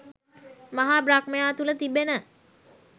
මහා බ්‍රහ්මයා තුළ තිබෙන